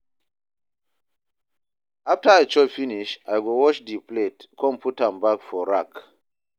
after I chop finish, I go wash di plate con put am back for rack